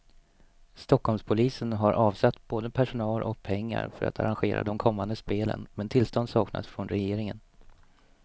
Stockholmspolisen har avsatt både personal och pengar för att arrangera de kommande spelen, men tillstånd saknas från regeringen.